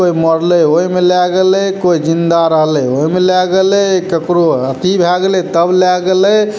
कोई मरले ओय में ला गेले कोई जिंदा रहले ओय में ला गेले ककरो अथी भाय गेले तब ला गेले।